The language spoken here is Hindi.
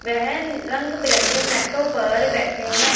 वह न रंग बिरंगे मैटों पर बैठे हैं।